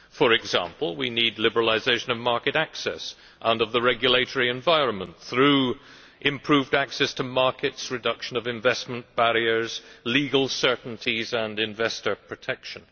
For example, we need liberalisation of market access and of the regulatory environment through improved access to markets, reduction of investment barriers, legal certainties and investor protection.